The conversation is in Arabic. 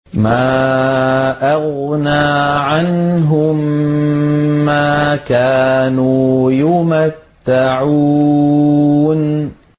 مَا أَغْنَىٰ عَنْهُم مَّا كَانُوا يُمَتَّعُونَ